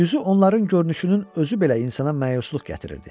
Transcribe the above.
Düzü onların görünüşünün özü belə insana məyusluq gətirirdi.